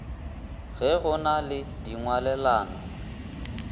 ge go na le dingwalelano